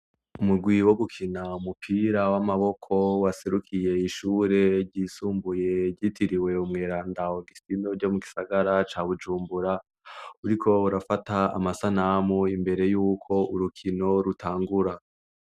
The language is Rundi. Umugwi wo gukina umupira w'amaboko waserukiye ishure ryisumbuye ryitiriwe Umweranda Ogustino ryo mu gisagara ca Bujumbura, uriko urafata amasanamu imbere yuko urukino rutangura.